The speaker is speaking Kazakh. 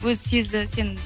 өзі сезді